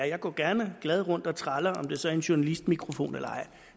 jeg går gerne glad rundt og traller om det så er i en journalistmikrofon eller ej